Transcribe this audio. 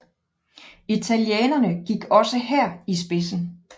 Italienerne gik også her i spidsen